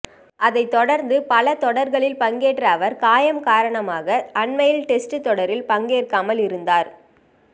அதைத் தொடர்ந்து பல தொடர்களில் பங்கேற்ற அவர் காயம் காரணமாக அண்மையில் டெஸ்ட் தொடரில் பங்கேற்காமல் இருந்தார்